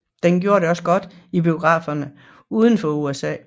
Den gjorde det også godt i biograferne uden for USA